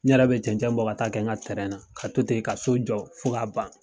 N yɛrɛ bɛ cɛnɛn bɔ ka t'a kɛ n ka na ka to ten ka so jɔ fo k'a ban.